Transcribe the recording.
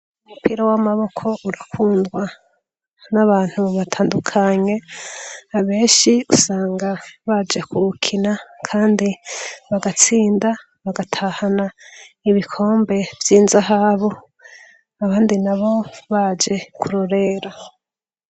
Umupira w'amaboko urakundwa n'abantu batandukanye, abenshi usanga baje kuwukina kandi bagatsinda bagatahana ibikombe vy'inzahabu, abandi nabo baje kurorera.